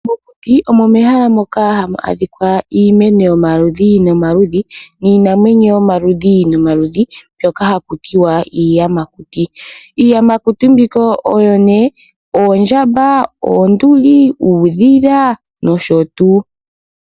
Mokuti omo mehala moka hamu adhika iimwno yomaludhi nomaludhi niinamwenyo yomaludhi nomaludhi mbyoka hakutiwa iiyamakuti. Iiyamakuti mbika oyo nee oondjamba ,oonduli, uudhila nosho tuu.